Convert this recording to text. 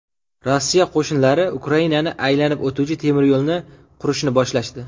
Rossiya qo‘shinlari Ukrainani aylanib o‘tuvchi temiryo‘lni qurishni boshlashdi.